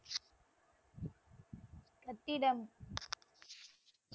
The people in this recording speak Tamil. கட்டிடம்,